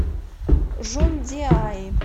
жундиаи